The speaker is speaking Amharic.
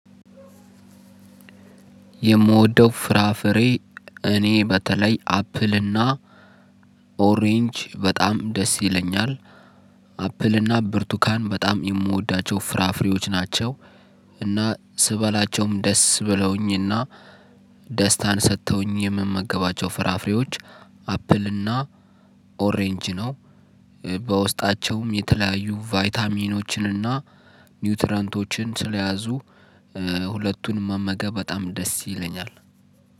የምወደው ፍራፍሬ እኔ በተለይ አፕል እና ኦሬንጅ በጣም ደስ ይለኛል አፕል እና ብርቱካን በጣም የምወዳቸው ፍራፍሬዎች ናቸው። እና ስበላቸውም ደስ ብለውኝና ደስታን ሰጥተውኝ የምመገባቸው ፍራፍሬዎች አፕል እና ኦሬንጅ ነው። በውስጣቸውም የተለያዩ ቫይታሚኖችንና ኒውትረንቶችን ስለያዙ ሁለቱንም መመገብ በጣም ደስ ይለኛል።